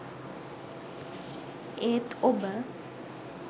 ඒත් ඔබ